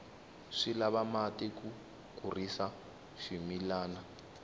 swi lava mati ku kurisa swimilana